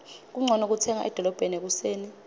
kuncono kutsenga edolobheni ekuseni